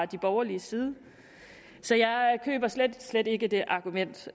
de borgerliges side så jeg køber slet slet ikke det argument